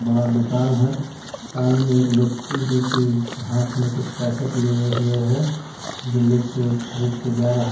बड़ा दुकान है सामने में एक व्यक्ति जो कि हाथ में कुछ पैकेट लिए हुए हैं जो ले के खरीद के जा रहा--